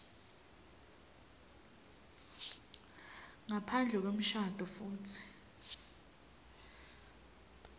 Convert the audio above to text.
ngaphandle kwemshado futsi